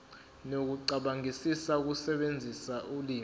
nokucabangisisa ukusebenzisa ulimi